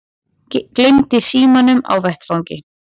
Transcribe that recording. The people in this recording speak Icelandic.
Gleymdi símanum á vettvangi